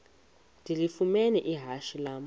ndilifumene ihashe lam